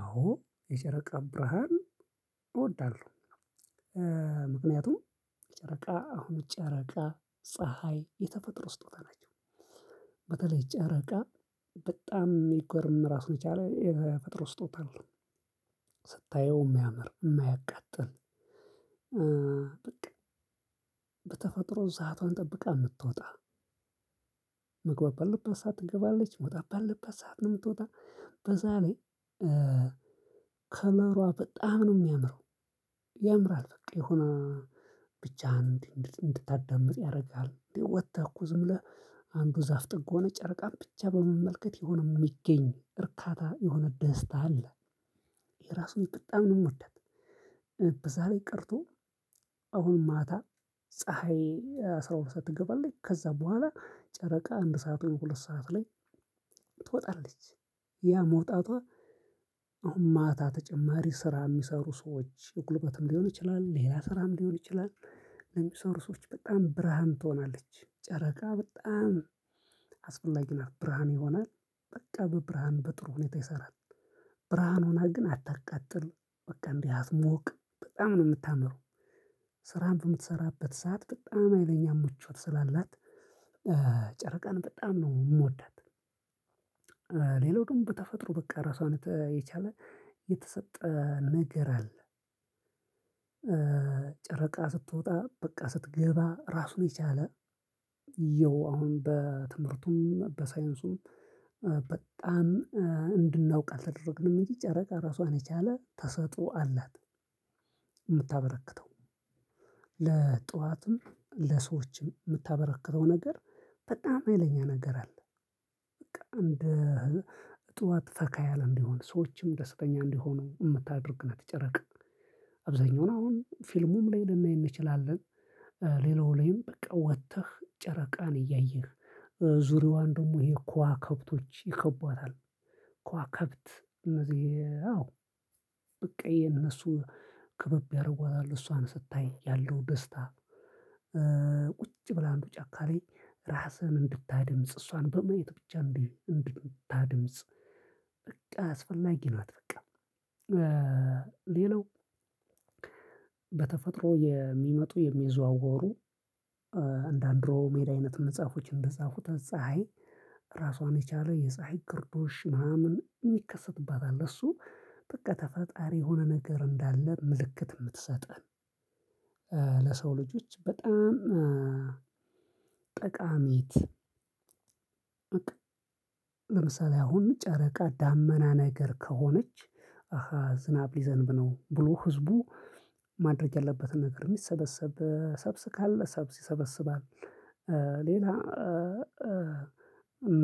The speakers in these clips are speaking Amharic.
አዎ የጨረቃ ብርሃን እወዳለሁ። ምክንያቱም ጨረቃ አሁን ጨረቃ ፀሀይ የተፈጥሮ ስጦታ ናቸው። በተለይ ጨረቃ በጣም የሚገርም ራሱን የቻለ የተፈጥሮ ስጦታ አለው። ስታየው የሚያምር የማያቃጥል በቃ በተፈጥሮ ስዓቷን ጠብቃ የምትወጣ። መግባባት ባለባት ሰዓት ትገባለች መውጣት ባለባት ሰዓት ነው። የምትወጣ በዛ ላይ ከለሯ በጣም ነው የሚያምረው። ያምራል በቃ የሆነ ብቻ እንድታዳምጥ ያደርጋል። ወጥተህ እኮ ዝም ብለህ አንዱ ዛፍ ጥግ ሆነህ ጨርቃን ብቻ በመመልከት የሆነ የሚገኝ እርካታ የሆነ ደስታ አለ። እኔ ራሱ በጣም ነው የምወዳት። በዛ ላይ ቀርቶ አሁን ማታ ፀሀይ አስራ ሁለት ሰዓት ትገባለች ከዛ በኋላ ጨረቃ አንድ ሰዓት ሁለት ሰዓት ላይ ትወጣለች። ያ መውጣቷ አሁን ማታ ተጨማሪ ስራ የሚሰሩ ሰዎች ጉልበትም ሊሆን ይችላል ሌላ ስራም ሊሆን ይችላል። ለሚሰሩ ሰዎች በጣም ብርሃን ትሆናለች ጨረቃ በጣም አስፈላጊ ናት ብርሃን ይሆናል። በቃ በብርሃን በጥሩ ሁኔታ ይሰራል። ብርሃን ሆና ግን አታቀጥል በቃ እንዲህ አትሞቅ በጣም ነው የምታምረው። ስራህን በምትሰራበት ሰዓት በጣም ሀይለኛ ምቾት ስላላት ጨረቃን በጣም ነው የምወዳት። ሌላው ደግሞ በተፈጥሮ በቃ ራሷን የቻለ የተሰጠ ነገር አለ። ጨረቃ ስትወጣ በቃ ስትገባ ራሱን የቻለ ይኸው አሁን በትምህርቱም በሳይንሱም በጣም እንድናውቅ አልተደረግንም እንጂ ጨረቃ ራሷን የቻለ ተሰጥኦ አላት። የምታበረክተው ለእፅዋትም ለሰዎችም የምታበረክተው ነገር በጣም ሀይለኛ ነገር አለ። እንደ እፅዋት ፈካ ያለ እንዲሆን ሰዎችም ደስተኛ እንዲሆኑ የምታደርግናት ጨረቃ። አብዛኛው አሁን ፊልሙም ላይ ልንናይ እንችላለን። ሌላው ላይም በቃ ወጥተህ ጨረቃን እያየህ ዙሪያዋን ደግሞ ይሄ ክዋክብቶች ይከቧታል። ክዋክብት እነዚህ አዎ በቃ እነሱ ክብብ ያደርጓል እሷን ስታይ ያለው ደስታ። ቁጭ ብለህ አንዱ ጫካ ላይ ራስህን እንድታድምጽ እሷን በማየት ብቻ እንድታድምጽ። በቃ አስፈላጊ ናት። በቃ ሌላው በተፈጥሮ የሚመጡ የሚዘዋወሩ እንደ አንድሮ ሜዳ አይነት መጽሐፎች እንደጻፉት ፀሀይ ራሷን የቻለ የፀሀይ ግርዶሽ ምናምን ይከሰትበታል። እሱ በቃ ተፈጣሪ የሆነ ነገር እንዳለ ምልክት የምትሰጠን። ለሰው ልጆች በጣም ጠቃሚነት። ለምሳሌ አሁን ጨረቃ ዳመና ነገር ከሆነች አሃ ዝናብ ሊዘንብ ነው ብሎ ህዝቡ ማድረግ ያለበትን ነገር የሚሰበሰብ ሰብል ካለ ሰብል ይሰበስባል። ሌላ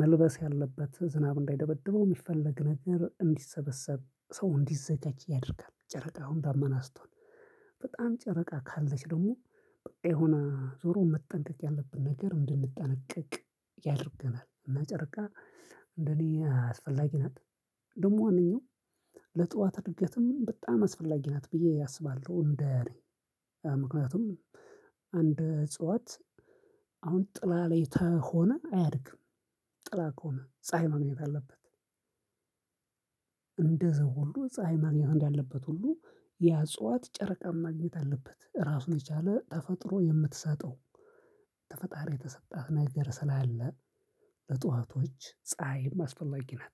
መልበስ ያለበት ዝናብ እንዳይደበድበው የሚፈለግ ነገር እንዲሰበሰብ ሰው እንዲዘጃጅ ያደርጋል። ጨረቃውን ዳመና ስትሆን በጣም ጨረቃ ካለች ደግሞ በቃ የሆነ ዞሮ መጠንቀቅ ያለብን ነገር እንድንጠነቀቅ ያደርገናል። እና ጨርቃ እንደኔ አስፈላጊ ናት። ደግሞ ዋናው ለጥዋት እድገትም በጣም አስፈላጊ ናት ብዬ አስባለሁ። እንደ ምክንያቱም አንድ እጽዋት አሁን ጥላ ላይ ተሆነ አያድግም። ጥላ ከሆነ ፀሀይ ማግኘት አለበት። እንደዚው ሁሉ ፀሀይ ማግኘት እንዳለበት ሁሉ ያ አፅዋት ጨረቃ ማግኘት አለበት ራሱን የቻለ ተፈጥሮ የምትሰጠው ከፈጣሪ የተሰጣት ነገር ስላለ በጧቶች ፀሀይ አስፈላጊ ናት።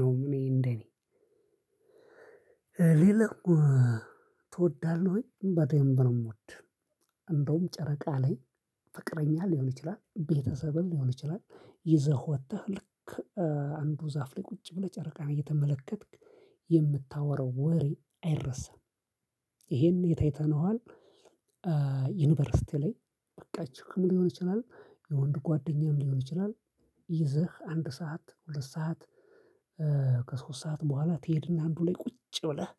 ነው እኔ እንደኔ ሌላ ትወዳለህ ወይ በደንብ ነው የምወድ። እንደውም ጨረቃ ላይ ፍቅረኛ ሊሆን ይችላል ቤተሰብም ሊሆን ይችላል። ይዘህ ወጥተህ ልክ አንዱ ዛፍ ላይ ቁጭ ብለህ ጨረቃህን እየተመለከትክ የምታወራው ወሬ አይረሳም። ይሄን የት አይተነዋል? ዩኒቨርሲቲ ላይ ፍቅረኛችሁ ሊሆን ይችላል የወንድ ጓደኛም ሊሆን ይችላል። ይዘህ አንድ ሰዓት ሁለት ሰዓት ከሶስት ሰዓት በኋላ ትሄድና አንዱ ላይ ቁጭ ብለህ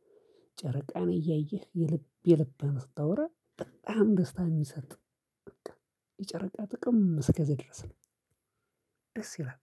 ጨረቃን እያየህ የልብ የልብህን ስታወራ በጣም ደስታ የሚሰጥ። የጨረቃ ጥቅም እስከዚህ ድረስ ነው። ደስ ይላል።